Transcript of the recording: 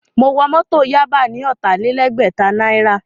Mo wọ Mọ́tọ̀ Yaba ní ọ̀tàlélẹgbẹ̀ta náírà